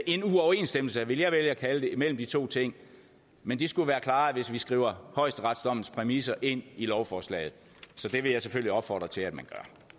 en uoverensstemmelse vil jeg vælge at kalde det imellem de to ting men det skulle være klaret hvis vi skriver højesteretsdommens præmisser ind i lovforslaget så det vil jeg selvfølgelig opfordre til at man